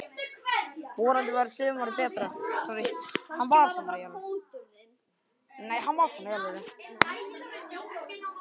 Vonandi verður sumarið betra!